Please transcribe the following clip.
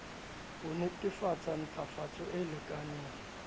ho netefatsa ntlafatso e lekaneng